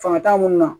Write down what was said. Fanga t'an mun na